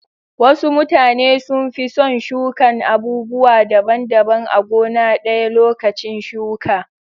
Wasu mutane sun fi son shukan abubuwa daban daban a gona ɗaya lokacin shuka.